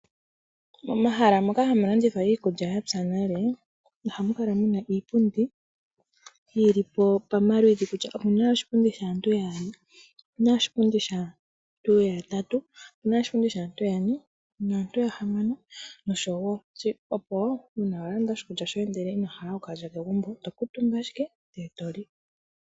Momahala moka hamu landithwa iikulya yapya nale ohamu kala muna iipundi yili pomaludhi. Omuna oshipundi shaantu yaali, omuna oshipundi shaantu yatatu , omuna oshipundi shaantu yane, naantu yahamano noshowo opo uuna wa landa oshikulya ndele ino hala oku kalya kegumbo oto kuuntumba ashike ndele eto li.